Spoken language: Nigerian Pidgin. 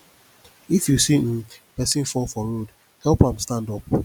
if you see um pesin fall for road help am stand up